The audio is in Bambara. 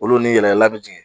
Olu ni yɛlɛyɛlɛlan bɛ jigin.